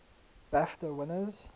bafta winners